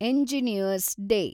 engineers day